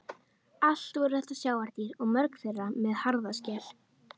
Allt voru þetta sjávardýr og mörg þeirra með harða skel.